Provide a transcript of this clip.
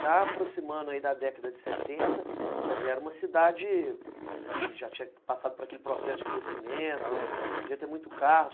Já aproximando aí da década de setenta, já era uma cidade que já tinha passado por aquele processo de crescimento, já tinha muito carro.